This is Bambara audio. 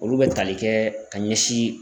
Olu bɛ tali kɛ ka ɲɛsin